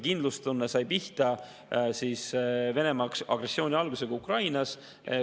Kindlustunne sai pihta Venemaa agressiooni algusega Ukrainas.